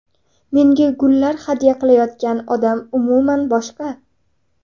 Menga gullar hadya qilayotgan odam umuman boshqa.